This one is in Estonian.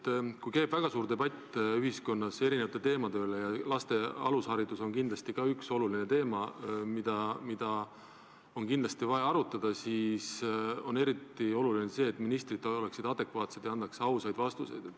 Kui ühiskonnas käib väga suur debatt erinevate teemade üle – laste alusharidus on kindlasti üks oluline teema, mida on vaja arutada –, siis on eriti oluline, et ministrid oleksid adekvaatsed ja annaksid ausaid vastuseid.